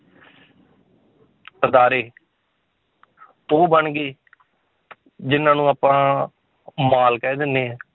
ਅਦਾਰੇ ਉਹ ਬਣ ਗਏ ਜਿੰਨਾਂ ਨੂੰ ਆਪਾਂ ਮਾਲ ਕਹਿ ਦਿੰਦੇ ਹੈ